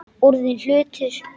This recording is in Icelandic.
Orðinn hlutur.